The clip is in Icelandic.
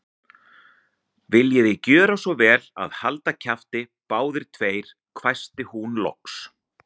Viljiði gjöra svo vel að halda kjafti, báðir tveir hvæsti hún loks.